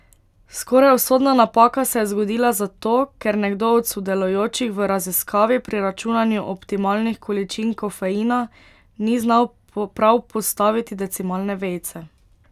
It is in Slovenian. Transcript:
Skoraj usodna napaka se je zgodila zato, ker nekdo od sodelujočih v raziskavi pri računanju optimalnih količin kofeina ni znal prav postaviti decimalne vejice.